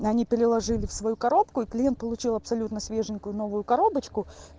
они переложили в свою коробку и клиент получил абсолютно свеженькую новую коробочку